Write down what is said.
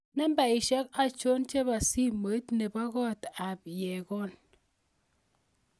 Nambaisyek achon chebo simoit nebo kot ab Yegon